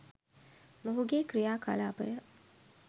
මොහුගේ ක්‍රියා කලාපය